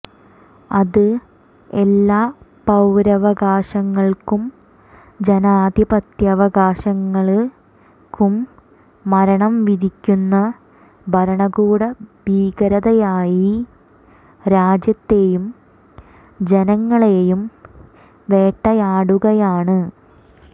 അത് എല്ലാ പൌരാവകാശങ്ങള്ക്കും ജാധിപത്യാവകാശങ്ങള്ക്കും മരണം വിധിക്കുന്ന ഭരണകൂട ഭീകരതയായി രാജ്യത്തെയും ജങ്ങളെയും വേട്ടയാടുകയാണ്